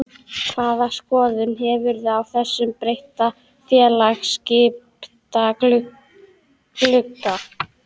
Hvaða skoðun hefurðu á þessum breytta félagaskiptaglugga?